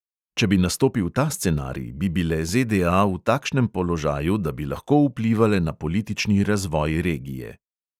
Če bi nastopil ta scenarij, bi bile ZDA v takšnem položaju, da bi lahko vplivale na politični razvoj regije.